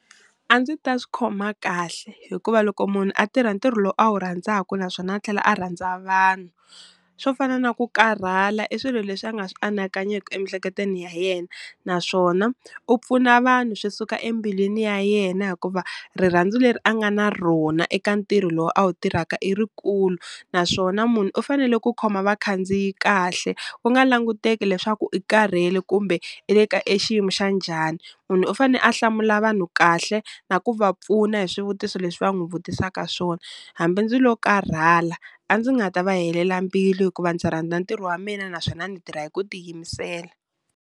A ndzi ta swi khoma kahle hikuva loko munhu a tirha ntirho lowu a wu rhandzaku naswona a tlhela a rhandza vanhu, swo fana na ku karhala i swilo leswi a nga swi anakanyeki emiehleketweni ya yena, naswona u pfuna vanhu swi suka embilwini ya yena hikuva rirhandzu leri a nga na rona eka ntirho lowu a wu tirhaka i rikulu, naswona munhu u fanele ku khoma vakhandziyi kahle ku nga languteki leswaku i karhele kumbe i le ka exiyimo xa njhani, munhu u fane a hlamula vanhu kahle na ku va pfuna hi swivutiso leswi va n'wi vutisaka swona hambi ndzi lo karhala a ndzi nga ta va helela mbilu hikuva ndzi rhandza ntirho wa mina naswona ndzi tirha hi ku tiyimisela.